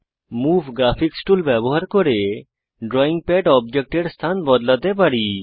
move graphics tool ব্যবহার করে drawing pad অবজেক্টের স্থান বদলাতে পারি